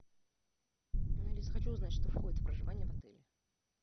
алис хочу узнать что входит в проживание в отеле